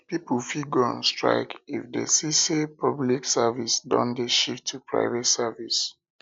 pipo fit go on strike if dem see say public service don de shift to private services